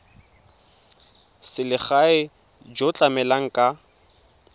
selegae jo bo tlamelang ka